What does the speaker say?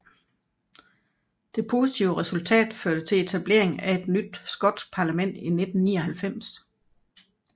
Det positive resultat førte til etableringen af et nyt skotsk parlament i 1999